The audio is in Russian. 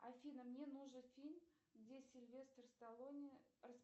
афина мне нужен фильм где сильвестр сталлоне